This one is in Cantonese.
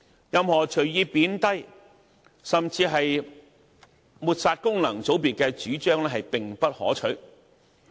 任何隨意貶低甚至抹煞功能界別的主張並不可取。